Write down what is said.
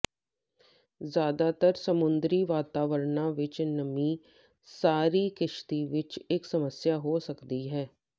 ਜ਼ਿਆਦਾਤਰ ਸਮੁੰਦਰੀ ਵਾਤਾਵਰਣਾਂ ਵਿਚ ਨਮੀ ਸਾਰੀ ਕਿਸ਼ਤੀ ਵਿਚ ਇਕ ਸਮੱਸਿਆ ਹੋ ਸਕਦੀ ਹੈ